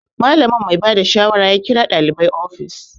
Malamin mai bada shawara ya kira ɗalibai ofis